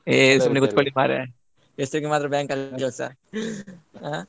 ಏ ಕೂತ್ಕೊಳ್ಳಿ ಮರ್ರೆ ಹೆಸರಿಗೆ ಮಾತ್ರ bank ನಲ್ಲಿ ಕೆಲಸ ಆ.